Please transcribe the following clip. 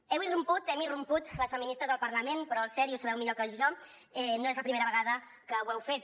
heu irromput hem irromput les feministes al parlament però el cert i ho sabeu millor que jo no és la primera vegada que ho heu fet